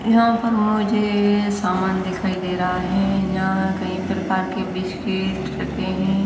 यहां पर मुझे सामान दिखाई दे रहा है जहां कई प्रकार के बिस्किट रखे हैं।